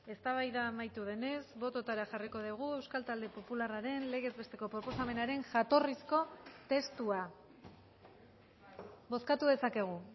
eztabaida amaitu denez bototara jarriko dugu euskal talde popularraren legez besteko proposamenaren jatorrizko testua bozkatu dezakegu